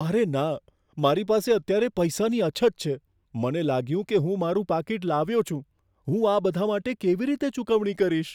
અરે ના! મારી પાસે અત્યારે પૈસાની અછત છે, મને લાગ્યું કે હું મારું પાકીટ લાવ્યો છું. હું આ બધા માટે કેવી રીતે ચૂકવણી કરીશ?